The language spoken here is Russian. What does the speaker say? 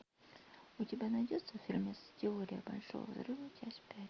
у тебя найдется фильм теория большого взрыва часть пять